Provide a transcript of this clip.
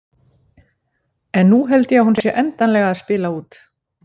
En nú held ég að hún sé endanlega að spila út.